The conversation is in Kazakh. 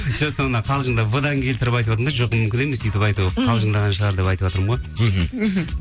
жоқ соны қалжыңадап в дан келтіріп айтыватырмын да жоқ мүмкін емес өйтіп айту мхм қалжыңдаған шығар деп айтыватырмын ғой мхм мхм